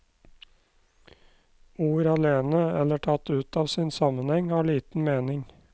Ord alene, eller tatt ut av sin sammenheng, har liten mening.